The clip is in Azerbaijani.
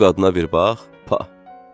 “Bu qadına bir bax, pa!”